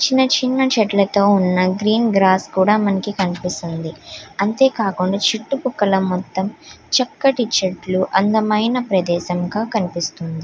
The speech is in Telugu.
చిన్న చిన్న చెట్లతో ఉన్న గ్రీన్ గ్రాస్ కూడా మనకి కనిపిస్తుంది. అంతేకాకుండా చుట్టుపక్కల మొత్తం చక్కటి చెట్లు అందమైన ప్రదేశం గా కనిపిస్తుంది.